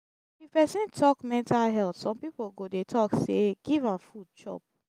if pesin tok mental health som pipo go dey tok say giv am food chop